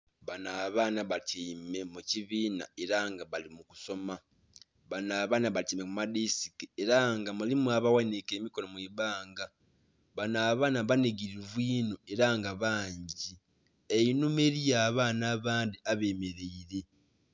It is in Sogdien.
Banho abaana batyaime mu kibina era nga bali mu kusoma, banho abaana batyaime mu madesike era nga mulimu abaghanhike emikonho mwibbanga banho abaana banhigilivuninho era nga bangi, einhuma eriyo abaana abandhi abemereire.